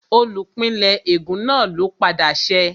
Olùpìnlẹ́ ègún náà ló padà ṣẹ́